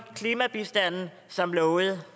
klimabistanden som lovet